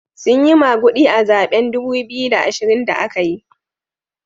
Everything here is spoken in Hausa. Sun yi magudi a zaben dubu biyu da ashirin da aka yi.